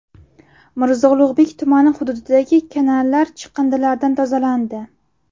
Mirzo Ulug‘bek tumani hududidagi kanallar chiqindilardan tozalandi .